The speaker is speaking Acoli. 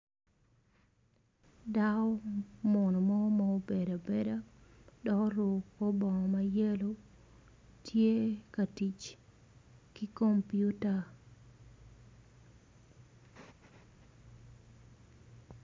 Dako munu mo ma obedo abeda dok oruko kor bongo mayelo tye ka tic ki kompiuta,